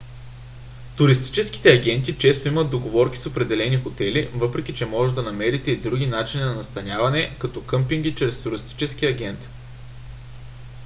туристическите агенти често имат договорки с определени хотели въпреки че може да намерите и други начини на настаняване като къмпинги чрез туристически агент